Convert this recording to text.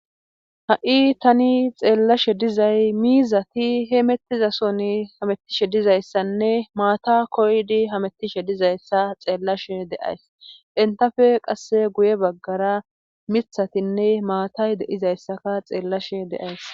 ha7i tani xeellashe dizay miizati he mettizason hamettishe dizayssanne maata koydi hamettishe dizayssa xeellashe deays entafe qasse guye baggara mithatinne maatay deizayssaka xeellashe deays